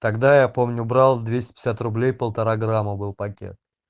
тогда я помню брал двести пятьдесят рублей полтора грамма был пакет